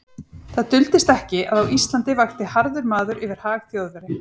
Það duldist ekki, að á Íslandi vakti harður maður yfir hag Þjóðverja.